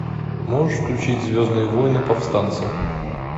можешь включить звездные войны повстанцы